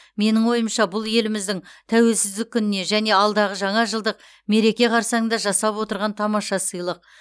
менің ойымша бұл еліміздің тәуелсіздік күніне және алдағы жаңа жылдық мереке қарсаңында жасап отырған тамаша сыйлық